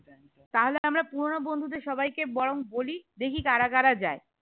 তা হলে আমরা পুরোনো বন্ধুদের সবাই কে বরং বলি দেখি কারা কারা যায়